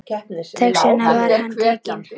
Þess vegna var hann tekinn.